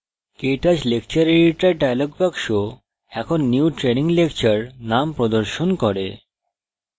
ktouch lecture editor dialog box এখন new training lecture name প্রদর্শন করে